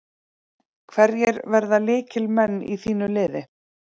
Hverjir verða lykilmenn í þínu liði?